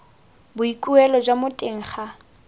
boikuelo jwa mo teng ga